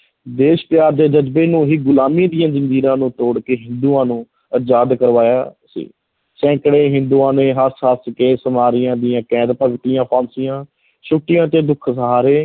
ਦੇਸ਼ ਪਿਆਰ ਦੇ ਜ਼ਜਬੇ ਨੂੰ ਹੀ ਗੁਲਾਮੀ ਦੀਆਂ ਜ਼ੰਜੀਰਾਂ ਨੂੰ ਤੋੜ ਕੇ ਹਿੰਦੂਆਂ ਨੂੰ ਆਜ਼ਾਦ ਕਰਵਾਇਆ ਸੀ, ਸੈਕੜੇ ਹਿੰਦੂਆਂ ਨੇ ਹੱਸ-ਹੱਸ ਕੇ ਦੀਆਂ ਕੈਦ ਭਗਤੀਆਂ, ਫਾਂਸੀਆਂ, ਛੁੱਟੀਆਂ ਅਤੇ ਦੁੱਖ ਸਹਾਰੇ।